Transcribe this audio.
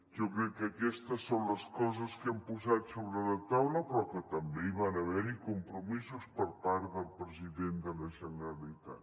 jo crec que aquestes són les coses que hem posat sobre la taula però també hi van haver compromisos per part del president de la generalitat